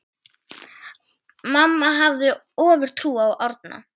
Mamma hafði ofurtrú á Árna.